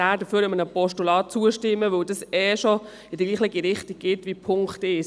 Es sollte dann einem Postulat zugestimmt werden, weil dieses ohnehin in dieselbe Richtung weist wie der Punkt 1.